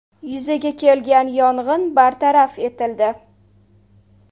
Yuzaga kelgan yong‘in bartaraf etildi.